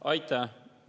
Aitäh!